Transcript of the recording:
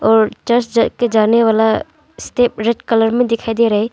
और चर्च जाके जाने वाला स्टेप रेड कलर में दिखाई दे रहा है।